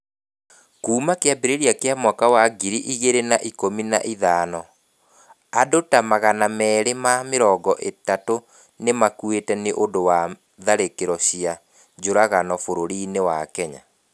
Kuuma kĩambĩrĩria kĩa mwaka wa ngiri igĩrĩ na ikumi na ithano, andũ ta magana meri ma mirongo ĩtatu nĩ makuĩte nĩ ũndũ wa tharĩkĩro cia njũragano bũrũri-inĩ wa Kenya.